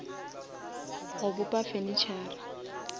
go bopa furnitura